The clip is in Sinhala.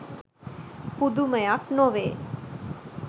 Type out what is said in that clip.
පුදුමයක් නොවේ